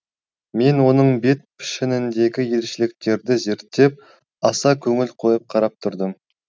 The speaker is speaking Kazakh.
мен оның бет пішініндегі ерекшеліктерді зерттеп аса көңіл қойып қарап тұрдым